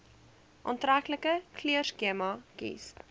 aantreklike kleurskema kies